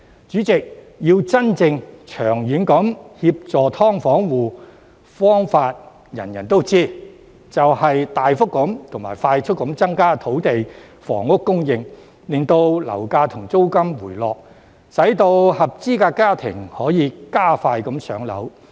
主席，真正能夠長遠協助"劏房戶"的方法，人人都知道，就是大幅及快速地增加土地房屋供應，令樓價和租金回落，使合資格家庭可以更快"上樓"。